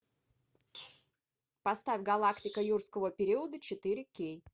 поставь галактика юрского периода четыре кей